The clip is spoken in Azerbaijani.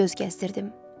Zala göz gəzdirdim.